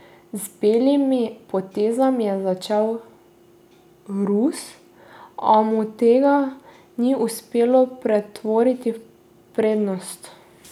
Z belimi potezami je začel Rus, a mu tega ni uspelo pretvoriti v prednost.